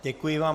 Děkuji vám.